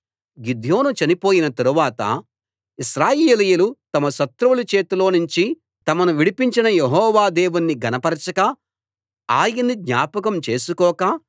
గిద్యోను చనిపోయిన తరువాత ఇశ్రాయేలీయులు తమ శత్రువుల చేతిలోనుంచి తమను విడిపించిన యెహోవా దేవుణ్ణి ఘనపరచక ఆయన్ని జ్ఞాపకం చేసుకోక